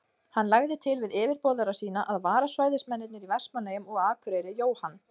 Hann lagði til við yfirboðara sína, að vararæðismennirnir í Vestmannaeyjum og á Akureyri, Jóhann